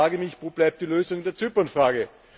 Ich frage mich Wo bleibt die Lösung der Zypernfrage?